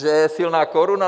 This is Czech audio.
Že je silná koruna?